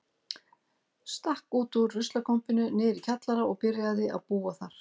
Stakk út úr ruslakompunni niðri í kjallara og byrjaði að búa þar.